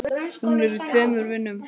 Hún er í tveimur vinnum.